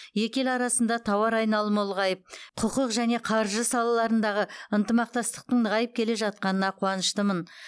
екі ел арасында тауар айналымы ұлғайып құқық және қаржы салаларындағы ынтымақтастықтың нығайып келе жатқанына қуаныштымын